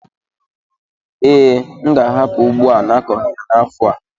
Ee, m ga-ahapụ ugbo a n'akọghi ya n'afọ a.